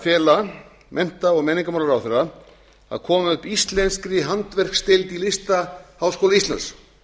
fela mennta og menningarmálaráðherra að koma upp íslenskri handverksdeild í listaháskóla íslands